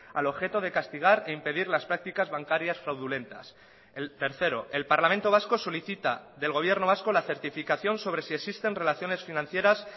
al objeto de castigar e impedir las prácticas bancarias fraudulentas el tercero el parlamento vasco solicita del gobierno vasco la certificación sobre si existen relaciones financieras